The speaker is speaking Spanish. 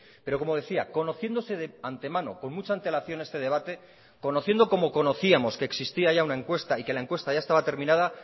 pero como decía conociéndose de antemano con mucha antelación este debate conociendo como conocíamos que existía ya una encuesta y que la encuesta ya estaba terminada